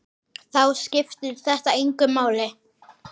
Þá skiptir þetta engu máli.